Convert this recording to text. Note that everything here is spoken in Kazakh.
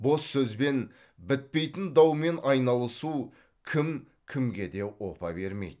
бос сөзбен бітпейтін даумен айналысу кім кімге де опа бермейді